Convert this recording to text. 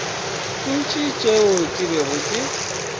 ntši tšeo ke bego ke